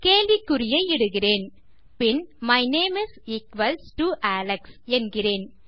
கேள்விக்குறியை இடுகிறேன்பின் my name is equals to Alex என்கிறேன்